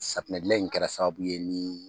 Safunɛ gilan in kɛra sababu ye ni